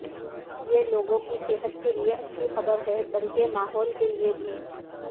یہ لوگوں کی صحت کے لئے اچھی خبر ہے بلکہ ماحول کے لئے بھی